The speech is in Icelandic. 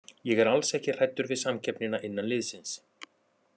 Ég er alls ekki hræddur við samkeppnina innan liðsins.